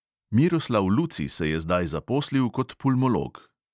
Miroslav luci se je zdaj zaposlil kot pulmolog.